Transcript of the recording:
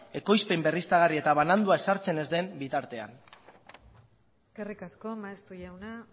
ekoizpen berriztagarri eta banandua ezartzen ez den bitartean eskerrik asko maeztu jauna